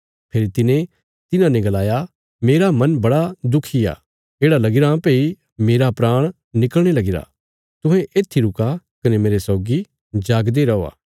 फेरी तिने तिन्हाने गलाया मेरा मन बड़ा दुखी आ येढ़ा लगीराँ भई मेरे प्राण निकल़णे लगीरे तुहें येत्थी रुका कने मेरे सौगी जागदे रौआ